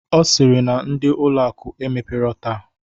Ọ sịrị na ndị ụlọ akụ emepero taa.